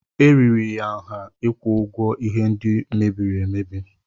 Eriri ya nha ịkwụ ụgwọ ihe ndị mebiri emebi.